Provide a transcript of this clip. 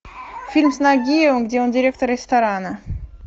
фильм с нагиевым где он директор ресторана